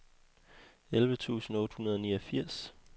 elleve tusind otte hundrede og niogfirs